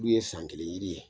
Olu ye san kelen yiri ye